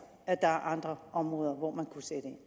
at der er andre områder hvor man kunne sætte ind